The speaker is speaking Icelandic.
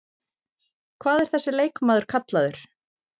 Hvað er þessi leikmaður kallaður?